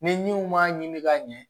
Niw m'a ɲini ka ɲɛ